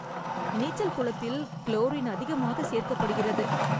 நீச்சல் குளத்தில் குளோரின் அதிகமாக சேர்க்கப்படுகிறது.